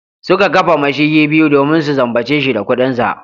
Suka kafa mashigi biyu domin su zambace shi da kudinsa.